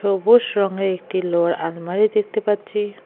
সবুজ রঙের একটি লোহার আলমারি দেখতে পাচ্ছি।